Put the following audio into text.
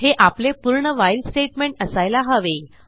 हे आपले पूर्ण व्हाईल स्टेटमेंट असायला हवे